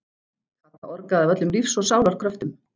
Kata orgaði af öllum lífs og sálar kröftum.